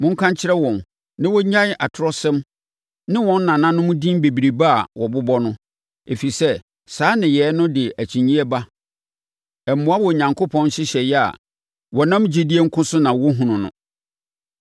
Monka nkyerɛ wɔn na wɔnnyae atorɔsɛm ne wɔn nananom din bebrebe a wɔbobɔ no, ɛfiri sɛ, saa nneyɛeɛ no de akyinnyeɛ ba. Ɛmmoa Onyankopɔn nhyehyɛeɛ a wɔnam gyidie nko so na wɔhunu no.